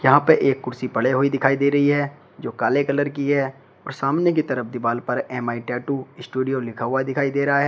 यहां पे एक कुर्सी पड़े हुई दिखाई दे रही है जो काले कलर की है और सामने की तरफ दिवाल पर एम_आई टैटू स्टूडियो लिखा हुआ दिखाई दे रहा है।